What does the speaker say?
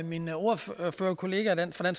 min ordførerkollega fra